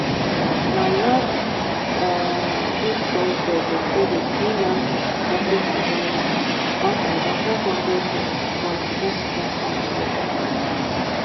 na last um week thursday dem pay the freelance graphic designer one thousand five hundred dollars for hin first contact work.